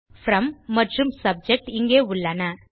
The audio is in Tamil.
ப்ரோம் மற்றும் சப்ஜெக்ட் இங்கே உள்ளன